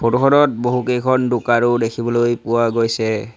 Photo খনত বহুকেইখন দোকানো দেখিবলৈ পোৱা গৈছে।